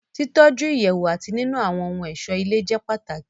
Títọ́ju Ìyẹ̀wù àti nínu àwọ́n ohun ọ̀ṣó ilé jẹ́ pàtàkì